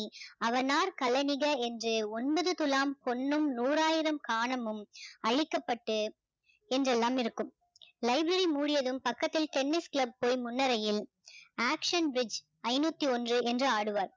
அவனார் கலாநிக என்று ஒன்பது துலாம் பொன்னும் நூறாயிரம் காணமும் அழிக்கப்பட்டு என்றெல்லாம் இருக்கும் library மூடியதும் பக்கத்தில் tennis club போய் முன்னறையில் action veg ஐநூத்தி ஒன்று என்று ஆடுவார்